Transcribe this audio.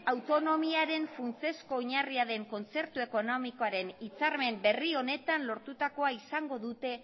autonomiaren funtsezko oinarria den kontzertu ekonomiakoren hitzarmen berri honetan lortutakoa izango dute